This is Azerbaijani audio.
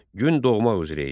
Gün doğmaq üzrə idi.